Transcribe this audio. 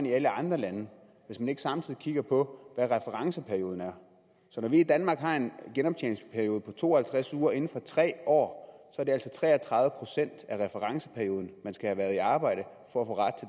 i alle andre lande hvis vi ikke samtidig kigger på hvad referenceperioden er når vi i danmark har en genoptjeningsperiode på to og halvtreds uger inden for tre år er det altså i tre og tredive procent af referenceperioden man skal have været i arbejde for